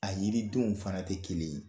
A yiri denw fana tɛ kelen ye